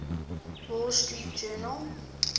wall street journal